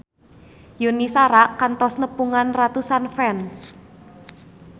Yuni Shara kantos nepungan ratusan fans